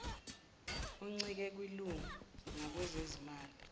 uncike kwilunga ngakwezezimali